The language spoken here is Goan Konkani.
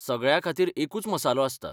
सगळ्याखातीर एकूच मसालो आसता.